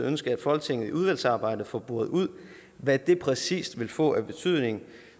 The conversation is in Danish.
ønske at folketinget i udvalgsarbejdet får boret ud hvad det præcis vil få af betydning